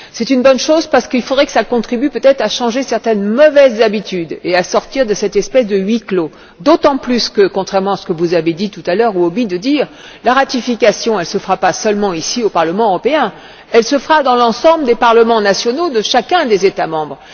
C'est une bonne chose parce qu'il faudrait que cela contribue peut être à changer certaines mauvaises habitudes et à sortir de cette espèce de huis clos, d'autant plus que, contrairement à ce que vous avez dit tout à l'heure ou omis de dire, la ratification ne se fera pas seulement ici au Parlement européen, elle se fera dans l'ensemble des parlements nationaux de chacun des États membres.